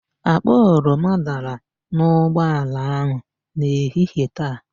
Akpa oroma dara n'ụgbọala ahụ n'ehihie taa.